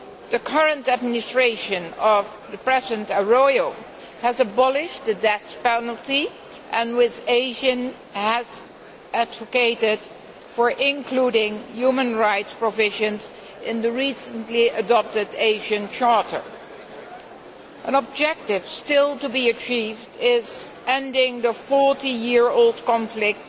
The current administration of President Arroyo has abolished the death penalty and with ASEAN, has advocated including human rights provisions in the recently adopted ASEAN Charter. An objective still to be achieved is ending the 40 year old conflict